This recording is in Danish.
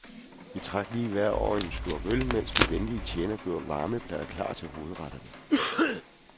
Vi trak lige vejret over en slurk øl, mens de venlige tjenere gjorde varmeplader klar til hovedretterne.